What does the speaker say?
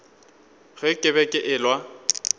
ge ke be ke elwa